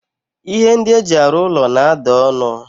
Ihe ndi eji aru ulo na-ada onu.